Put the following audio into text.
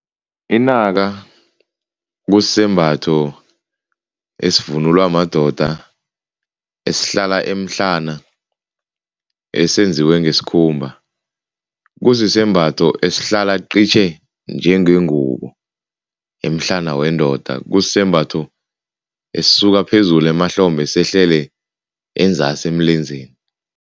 Inaka kusisembatho esivunulwa madoda, esihlala emhlana, esenziwe ngesikhumba. Kusisembatho esihlala qitjhe njengengubo emhlana wendoda kusisembatho, esisuka phezulu emahlombe sehlele enzasi emlenzeni.